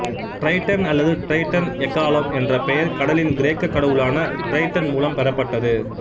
Triton அல்லது Triton எக்காளம் என்ற பெயர் கடலின் கிரேக்கக் கடவுளான டிரைட்டன் மூலம் பெறப்பட்டது